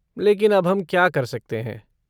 लेकिन अब हम क्या कर सकते हैं?